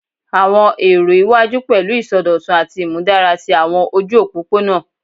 Awọn ero iwaju pẹlu isọdọtun ati imudara ti awọn oju opopona